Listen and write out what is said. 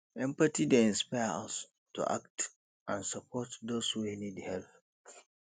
empathy dey inspire us to act and support those wey need help